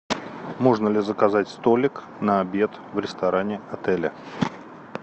можно ли заказать столик на обед в ресторане отеля